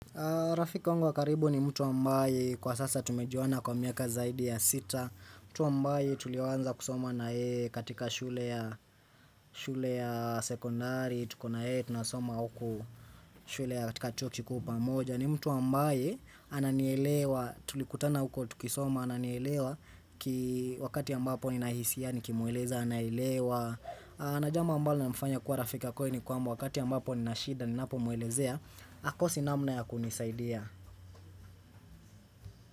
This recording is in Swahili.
Rafiki wangu wa karibu ni mtu ambaye kwa sasa tumejuana kwa miaka zaidi ya sita mtu ambaye tulianza kusoma na yeye katika shule ya sekondari tuko na yeye tunasoma huku shule ya katika chuo kikuu pamoja ni mtu ambaye ananielewa tulikutana huko tukisoma ananielewa Wakati ya ambapo ninahisia nikimueleza anaelewa na jambo ambalo linamfanya kuwa Rafiki wa kweli ni kwamba wakati ya ambapo ninashida ninapomwelezea, hakosi namna ya kunisaidia.